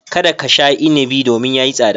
Kada ka sha inibi domin ya yi tsada.